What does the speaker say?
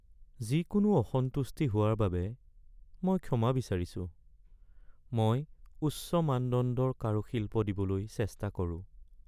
যিকোনো অসন্তুষ্টি হোৱাৰ বাবে মই ক্ষমা বিচাৰিছোঁ, মই উচ্চ মানদণ্ডৰ কাৰুশিল্প দিবলৈ চেষ্টা কৰোঁ।